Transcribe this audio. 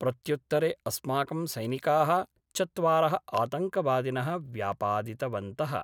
प्रत्युत्तरे अस्माकं सैनिकाः चत्वारः आतंकवादिनः व्यापादितवन्तः।